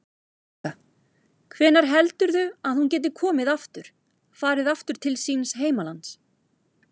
Helga: Hvenær heldurðu að hún geti komið aftur, farið aftur til síns heimalands?